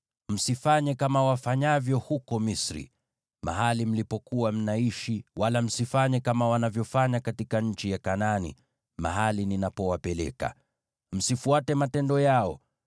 Msifanye kama wafanyavyo huko Misri, mahali mlipokuwa mnaishi, wala msifanye kama wanavyofanya katika nchi ya Kanaani, mahali ninapowapeleka. Msifuate matendo yao.